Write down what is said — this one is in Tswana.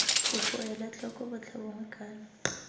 kopo ela tlhoko botlhabongwe kana